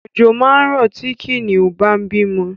Ọ̀jọ̀ máa rọ̀ tí Kìnìún bá ń bímọ